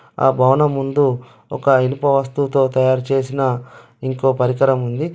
ఆ భవన ముందు ఒక ఇనుప వస్తువుతో తయారుచేసిన ఇంకో పరికరముంది.